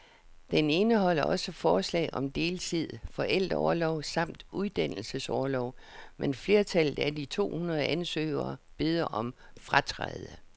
Den indeholder også forslag om deltid, forældreorlov samt uddannelsesorlov, men flertallet af de to hundrede ansøgere beder om at fratræde.